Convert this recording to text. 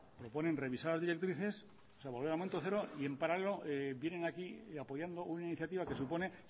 proponen revisar las directrices o sea volver al momento cero y en paralelo vienen aquí apoyando una iniciativa que supone